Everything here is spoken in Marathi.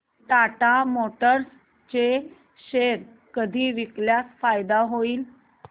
टाटा मोटर्स चे शेअर कधी विकल्यास फायदा होईल